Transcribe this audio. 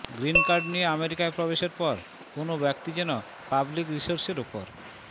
green card নিয়ে আমেরিকায় প্রবেশের পর কোনো ব্যক্তি যেন পাবলিক রিসোর্সের ওপর